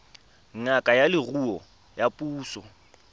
ngaka ya leruo ya puso